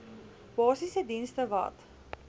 basiese dienste wat